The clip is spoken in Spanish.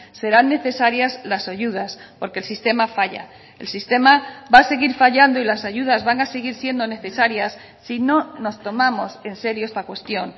serán necesarias las ayudas porque el sistema falla el sistema va a seguir fallando y las ayudas van a seguir siendo necesarias si no nos tomamos en serio esta cuestión